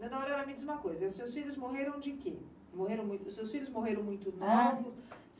Dona Aurora me diz uma coisa, seus filhos morreram de quê? Morreram muito, seus filhos morreram muito novos? Hã?